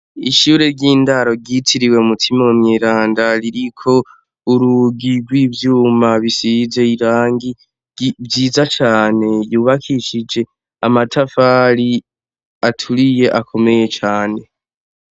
Ishure ry'indaro ryitiriwe Mutima Mweranda ririko urugi rw'ivyuma bisize irangi ryiza cane yubakishije amatafari aturiye akomeye cane.